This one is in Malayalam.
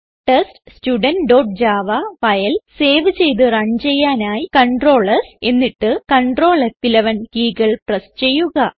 teststudentജാവ ഫയൽ സേവ് ചെയ്ത് റൺ ചെയ്യാനായി Ctrl സ് എന്നിട്ട് Ctrl ഫ്11 കീകൾ പ്രസ് ചെയ്യുക